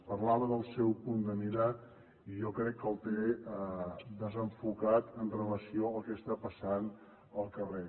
parlava del seu punt de mira i jo crec que el té desenfocat amb relació al que està passant al carrer